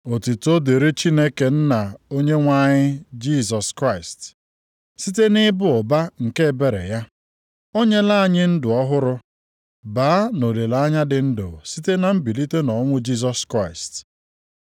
Otuto dịrị Chineke Nna Onyenwe anyị Jisọs Kraịst! Site nʼịba ụba nke ebere ya, o nyela anyị ndụ ọhụrụ baa nʼolileanya dị ndụ site na mbilite nʼọnwụ Jisọs Kraịst.